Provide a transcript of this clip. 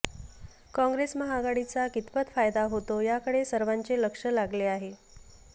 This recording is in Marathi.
काँग्रेस महाआघाडीचा कितपत फायदा होतो याकडे सर्वांचे लक्ष लागले आहे